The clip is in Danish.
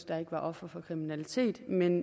der ikke var ofre for kriminalitet men